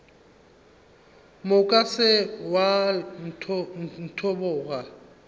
moka se ke wa ntlhoboga